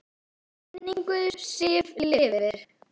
Minning Siggu lifir.